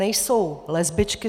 Nejsou lesbičky.